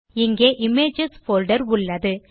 இங்கே images folder உள்ளது